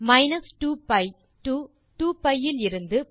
minus two B to two B இலிருந்து